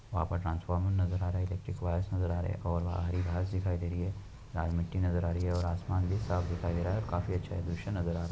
वहाँं पर ट्रांसफार्मर नजर आ रहा है। इलेक्ट्रिक वायरस नजर आ रहे है। एक ओर घास नजर आ रही है। लाल मिट्टी नजर आ रही है और आसमान भी साफ दिखाई दे रहा है काफी अच्छा दृश्य नजर आ --